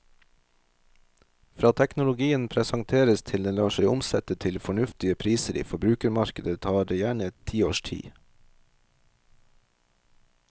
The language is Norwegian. Fra teknologien presenteres til den lar seg omsette til fornuftige priser i forbrukermarkedet, tar det gjerne en ti års tid.